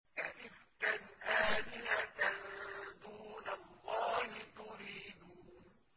أَئِفْكًا آلِهَةً دُونَ اللَّهِ تُرِيدُونَ